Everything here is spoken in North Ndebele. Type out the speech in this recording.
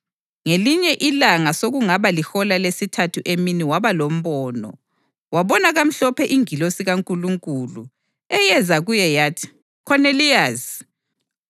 Ngelinye ilanga, sokungaba lihola lesithathu emini waba lombono. Wabona kamhlophe ingilosi kaNkulunkulu, eyeza kuye yathi, “Khoneliyasi!”